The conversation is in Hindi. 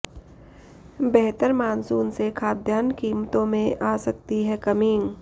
बेहतर मॉनसून से खाद्यान्न कीमतों में आ सकती है कमी